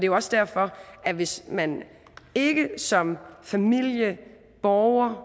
jo også derfor at hvis man ikke som familie borger